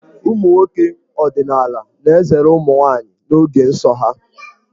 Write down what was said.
Ụmụ nwoke ọdịnaala na-ezere ụmụ nwaanyị n'oge nsọ ha.